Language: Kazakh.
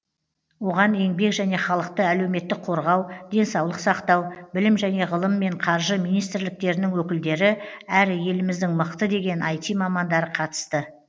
оған еңбек және халықты әлеуметтік қорғау денсаулық сақтау білім және ғылым мен қаржы министрліктерінің өкілдері әрі еліміздің мықты деген іт мамандары қатысты